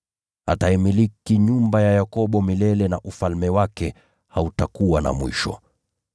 Ataimiliki nyumba ya Yakobo milele, na ufalme wake hautakuwa na mwisho.”